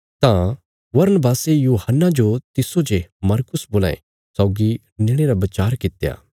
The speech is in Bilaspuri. तां बरनबासे यूहन्ना जो तिस्सो जे मरकुस बोलां ये सौगी नेणे रा बचार कित्या